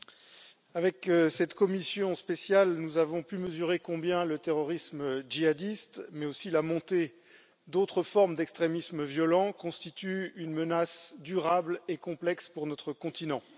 Monsieur le Président, avec cette commission spéciale, nous avons pu mesurer combien le terrorisme djihadiste, mais aussi la montée d'autres formes d'extrémisme violent, constituent une menace durable et complexe pour notre continent.